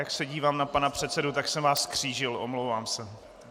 Jak se dívám na pana předsedu, tak jsem vás zkřížil, omlouvám se.